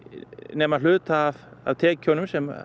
nema hluta af tekjunum sem